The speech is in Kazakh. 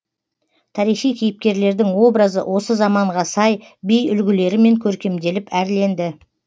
тарихи кейіпкерлердің образы осы заманға сай би үлгілерімен көркемделіп әрленді